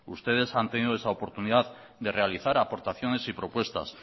ustedes han tenido esa oportunidad de realizar aportaciones y propuestas